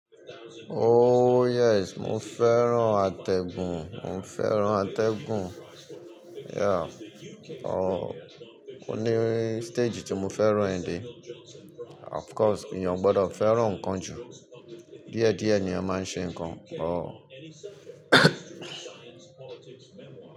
Yes, mo fẹ́ràn atẹ́gùn, mo fẹ́ràn atẹ́gùn. Yeah, ò ní stage tí mo fẹ́ràn ẹ̀ dé. Of course, eeyan o gbọdọ̀ fẹ́ràn nnkan jù. Díẹ̀ díẹ̀ ni eeyan máa ń ṣe nnkan.